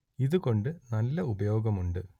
ഇതു കൊണ്ട് നല്ല ഉപയോഗം ഉണ്ട്